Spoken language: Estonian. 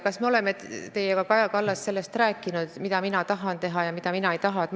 Kas me oleme teiega, Kaja Kallas, rääkinud sellest, mida mina tahan teha ja mida mina ei taha?